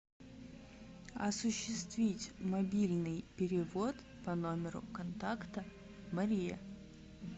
осуществить мобильный перевод по номеру контакта мария